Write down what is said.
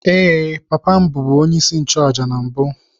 Ee, papa m bụbu onyeisi nchụàjà na mbụ.